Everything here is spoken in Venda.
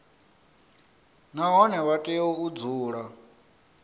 nahone vha tea u dzula